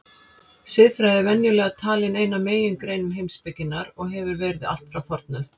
Siðfræði er venjulega talin ein af megingreinum heimspekinnar og hefur verið allt frá fornöld.